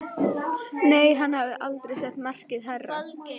Nei, hann hafði aldrei sett markið hærra.